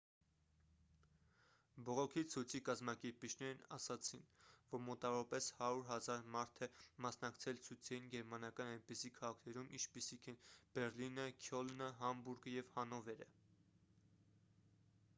բողոքի ցույցի կազմակերպիչներն ասացին որ մոտավորապես 100 000 մարդ է մասնակցել ցույցերին գերմանական այնպիսի քաղաքներում ինչպիսիք են բեռլինը քյոլնը համբուրգը և հանովերը